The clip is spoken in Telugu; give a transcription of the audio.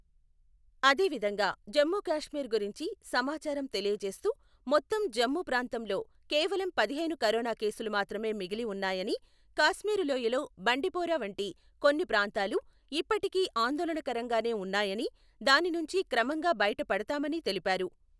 అదే విధంగా జమ్మూ కాశ్మీర్ గురించి సమాచారం తెలియజేస్తూ, మొత్తం జమ్మూ ప్రాంతంలో కేవలం పదిహేను కరోనా కేసులు మాత్రమే మిగిలి ఉన్నాయని, కాశ్మీర్ లోయలో బండిపోరా వంటి కొన్ని ప్రాంతాలు ఇప్పటికీ ఆందోళనకరంగానే ఉన్నాయని, దాని నుంచి క్రమంగా బయట పడతామని తెలిపారు.